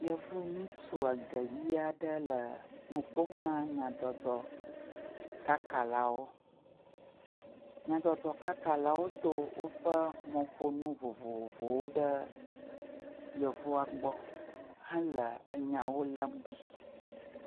Yevu ŋytsu ege ʋe aɖe le nu ƒom na nyadzɔdzɔkakalawo. Nyadzɔdzɔkakalawo do woƒe mɔƒonu vovovowo ɖe yevua gbɔ hele enyawo lém ɖi.